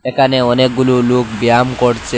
এখানে অনেকগুলু লোক ব্যায়াম করছে।